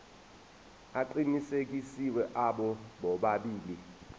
aqinisekisiwe abo bobabili